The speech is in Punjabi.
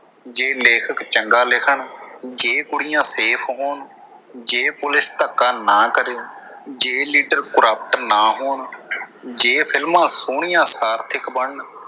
ਜੇ ਲੇਖ਼ਕ ਚੰਗਾ ਲਿਖਣ, ਜੇ ਕੁੜੀਆਂ ਸੇਫ ਹੋਣ, ਜੇ ਪੁਲਿਸ ਧੱਕਾ ਨਾ ਕਰੇ, ਜੇ ਲੀਡਰ corrupt ਨਾ ਹੋਣ, ਜੇ ਫ਼ਿਲਮਾਂ ਸੋਹਣੀਆਂ ਸਾਰਥਿਕ ਬਣਨ।